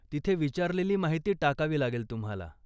तिथे विचारलेली माहिती टाकावी लागेल तुम्हाला.